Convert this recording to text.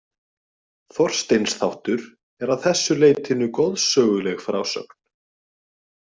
Þorsteins þáttur er að þessu leytinu goðsöguleg frásögn.